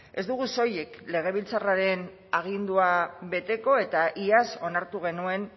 ez dugu soilik legebiltzarraren agindua beteko eta iaz onartu genuen